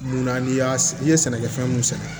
Munna n'i y'a i ye sɛnɛkɛfɛn mun sɛnɛ